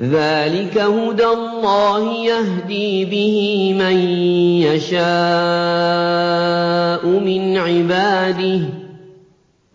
ذَٰلِكَ هُدَى اللَّهِ يَهْدِي بِهِ مَن يَشَاءُ مِنْ عِبَادِهِ ۚ